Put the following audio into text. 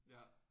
Ja